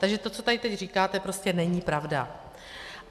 Takže to, co tady teď říkáte, prostě není pravda.